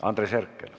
Andres Herkel.